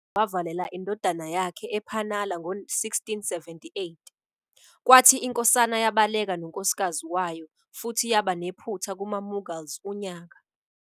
UShivaji wavalela indodana yakhe ePanhala ngo-1678, kwathi inkosana yabaleka nonkosikazi wayo futhi yaba nephutha kumaMughals unyaka.